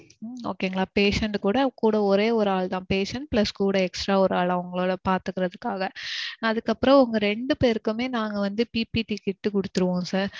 okay ங்களா patient கூட கூட ஒரே ஒரு ஆளு தான் patient plus கூட extra ஒரு ஆள் அவங்கள பாத்துக்குறதுக்காக. அதுக்கப்பறோம் உங்க ரெண்டு பேருக்குமே நாங்க வந்து PPT kit குடுத்துருவோம் sir.